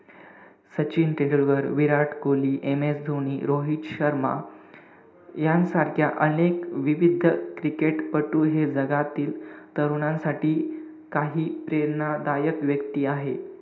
Sachin Tendulkar, Virat Kohli, MS Dhoni, Rohit Sharma, यांसारख्या अनेक विविध क्रिकेटपटू हे जगातील तरुणांसाठी काही प्रेरणादायक व्यक्ती आहे.